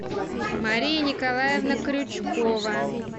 мария николаевна крючкова